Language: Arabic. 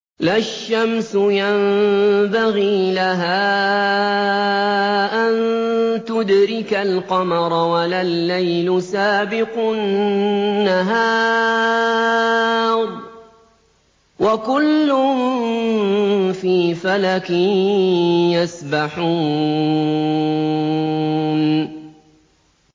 لَا الشَّمْسُ يَنبَغِي لَهَا أَن تُدْرِكَ الْقَمَرَ وَلَا اللَّيْلُ سَابِقُ النَّهَارِ ۚ وَكُلٌّ فِي فَلَكٍ يَسْبَحُونَ